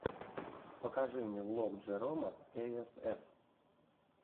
покажи мне влог джерома эй эс эф